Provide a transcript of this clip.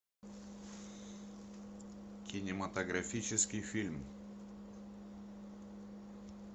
кинематографический фильм